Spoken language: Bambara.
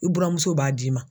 I buramuso b'a d'i ma.